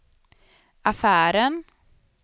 affären